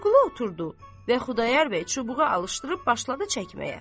Vəliqulu oturdu və Xudayar bəy çubuğu alışdırıb başladı çəkməyə.